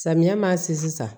Samiya ma se sisan